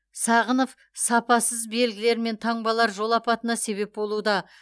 сағынов сапасыз белгілер мен таңбалар жол апатына себеп болуда